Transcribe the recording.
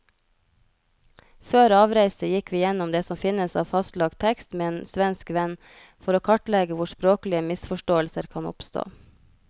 Før avreise gikk vi gjennom det som finnes av fastlagt tekst med en svensk venn, for å kartlegge hvor språklige misforståelser kan oppstå.